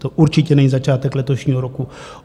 To určitě není začátek letošního roku.